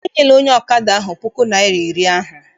Enyela onye ọkada ahụ puku naịra na iri ahụ!